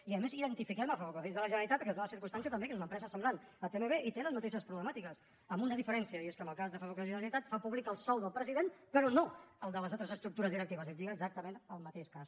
i a més identifiquem a ferrocarrils de la generalitat perquè es dóna la circumstància també que és una empresa semblant a tmb i que té les mateixes problemàtiques amb una diferencia i és que en el cas de ferrocarrils de la generalitat fa públic el sou del president però no el de les altres estructures directives és a dir exactament el mateix cas